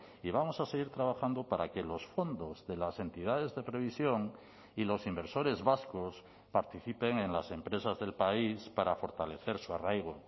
y vamos a seguir trabajando para que los fondos de las entidades de previsión y los inversores vascos participen en las empresas del país para fortalecer su arraigo